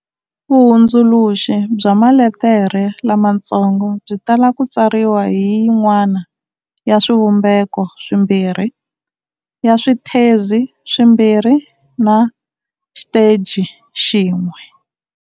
Vuhundzuluxi bya maletere lamatsongo byi tala ku tsariwa hi yin'wana ya swivumbeko swimbirhi-ya swithezi swimbirhi na xiteji xin'we.